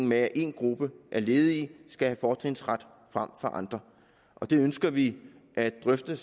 med at en gruppe af ledige skal have fortrinsret frem for andre det ønsker vi at drøfte